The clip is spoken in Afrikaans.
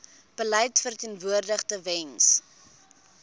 beleid verteenwoordig tewens